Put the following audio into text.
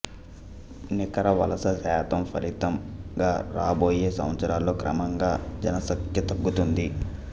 నికర వలస శాతం ఫలితంగా రాబోయే సంవత్సరాల్లో క్రమంగా జనసఖ్య తగ్గుతుంది